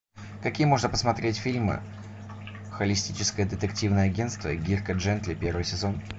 какие можно посмотреть фильмы холистическое детективное агентство дирка джентли первый сезон